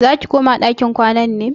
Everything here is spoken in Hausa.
Zaki koma ɗakin kwana ne?